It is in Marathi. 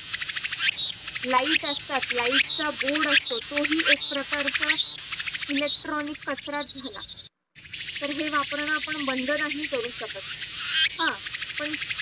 light असतात light चा board असतो तोही एक प्रकारचा electronic कचराच झाला तर हे वापरणं आपण बंद नाही करू शकत हा पण